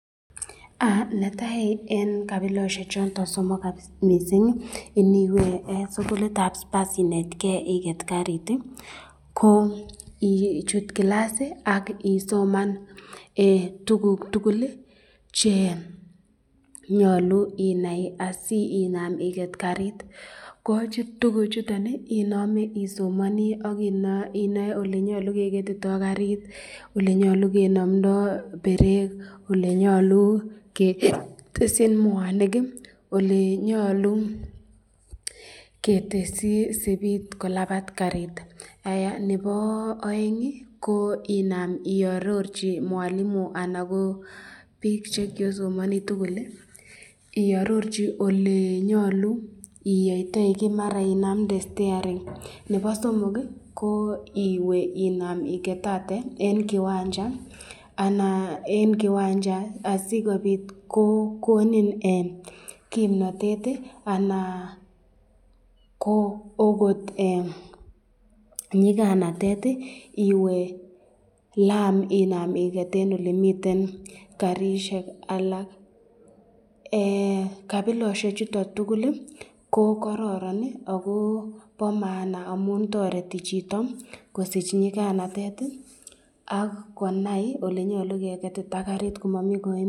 Netai eng kabilosyek choton somok mising, iniwe sukulitab spurs inet ken iket karit ko ichu kilas ak isoman tukuk tukul chenyalu inai asi inam iket karit , ko tukuk chuton inami isomani akinae elenyalu inetitei karit olenyalu kenamda berek , olenyalu ketesyin mwanik, ele nyalu ketesyi sipit kolabat karit, nebo aeng ko inam iarororchi mwalimu anan ko bik chekyosomani tukul ,iarochi olenyalu iyayte kit, maran olenyalu inamde staring, nebo somok ko iwe inam iket ate eng kiwanja ananeng kiwanja asikobit ko konin kimnatet anan ko akot nyikanatet iwe, lam lam inam iket eng elemiten garishek alak , kabilosyek chuton tukul ko karoron akobo maana amun toreti chito ,kosich nyikanatet ak konai elenyalu ke ketita karit komami kaimutik.